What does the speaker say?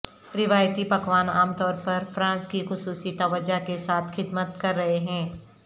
روایتی پکوان عام طور پر فرانس کی خصوصی توجہ کے ساتھ خدمت کر رہے ہیں